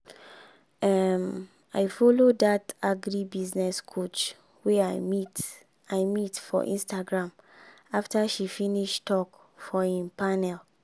um i follow dat agribusiness coach wey i meet i meet for instagram after she finish talk for im panel.